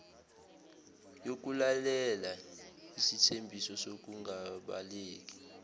yokulalela isithembiso sokungabaleki